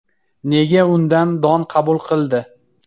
Nega undan don qabul qildi?